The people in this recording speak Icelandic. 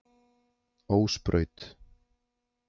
Ósbraut